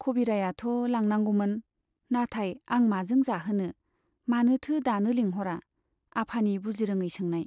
खबिरायाथ' लांनांगौमोन , नाथाय आं माजों जाहोनो ? मानोथो दानो लेंहरा ? आफानि बुजिरोङै सोंनाय।